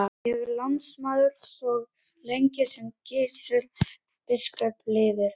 Ég er lánsmaður svo lengi sem Gizur biskup lifir.